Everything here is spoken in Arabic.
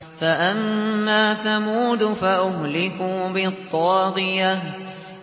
فَأَمَّا ثَمُودُ فَأُهْلِكُوا بِالطَّاغِيَةِ